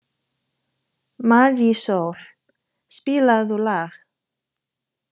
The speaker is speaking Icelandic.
Marísól, spilaðu lag.